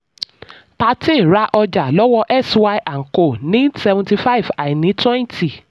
thirteen ra ọjà lọ́wọ́ x y and co ní seventy five àìní twenty.